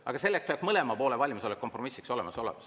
Aga selleks peab mõlemal poolel valmisolek kompromissiks olemas olema.